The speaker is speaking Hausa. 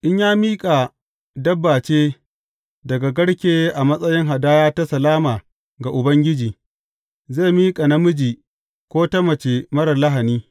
In ya miƙa dabba ce daga garke a matsayin hadaya ta salama ga Ubangiji, zai miƙa namiji ko ta mace marar lahani.